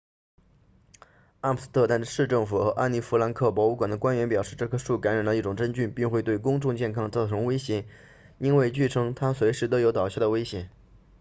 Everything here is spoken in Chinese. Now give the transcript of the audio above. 阿姆斯特丹市政府和安妮弗兰克博物馆 anne frank museum 的官员表示这棵树感染了一种真菌并会对公众健康造成威胁因为据称它随时都有倒下的危险